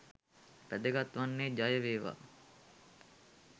වැදගත් වන්නේ ජය වේවා!